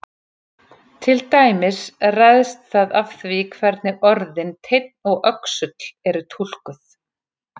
Til dæmis ræðst það af því hvernig orðin teinn og öxull eru túlkuð.